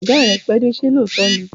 Ọ̀gá rẹ pẹ́dé, ṣé lóòótọ́ ni?